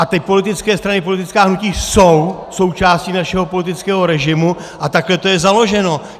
A ty politické strany, politická hnutí jsou součástí našeho politického režimu a takhle je to založeno.